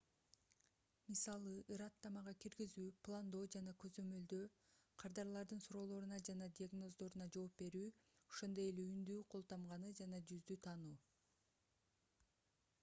мисалы ырааттамага киргизүү пландоо жана көзөмөлдөө кардарлардын суроолоруна жана диагноздоруна жооп берүү ошондой эле үндү кол тамганы жана жүздү таануу